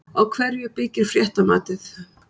Á hverju byggir fréttamatið?